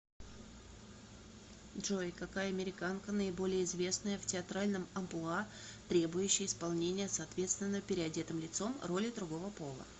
джой какая американка наиболее известная в театральном амплуа требующее исполнения соответственно переодетым лицом роли другого пола